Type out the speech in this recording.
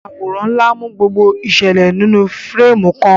Àwòrán ńlá mú gbogbo ìṣẹ̀lẹ̀ náà nínú fírémù kan.